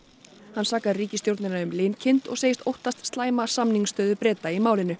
hann sakar ríkisstjórnina um linkind og segist óttast slæma samningsstöðu Breta í málinu